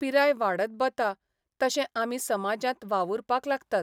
पिराय वाडत बता तशे आमी समाजांत वावुरपाक लागतात.